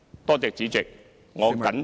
多謝主席，我謹此陳辭。